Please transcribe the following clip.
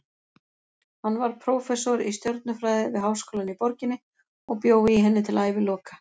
Hann varð prófessor í stjörnufræði við háskólann í borginni og bjó í henni til æviloka.